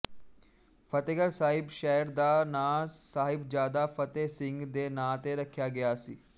ਫਤਹਿਗੜ੍ਹ ਸਾਹਿਬ ਸ਼ਹਿਰ ਦਾ ਨਾਂ ਸਾਹਿਬਜਾਦਾ ਫਤਹਿ ਸਿੰਘ ਦੇ ਨਾਂ ਤੇ ਰੱਖਿਆ ਗਿਆ ਸੀ